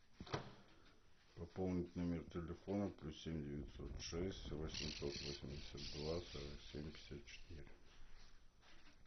пополнить номер телефона плюс семь девятьсот шесть восемьсот восемьдесят два сорок семь пятьдесят четыре